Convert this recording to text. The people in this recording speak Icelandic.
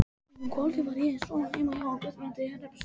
Um kvöldið var ég svo heima hjá Guðbrandi hreppstjóra.